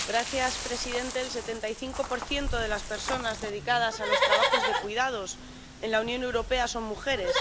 Señor presidente, el 75 de las personas dedicadas a los trabajos de cuidados en la Unión Europea son mujeres.